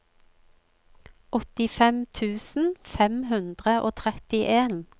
åttifem tusen fem hundre og trettien